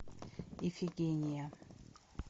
ифигения